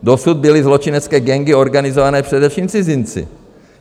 Dosud byly zločinecké gangy organizované především cizinci.